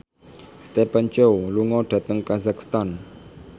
Stephen Chow lunga dhateng kazakhstan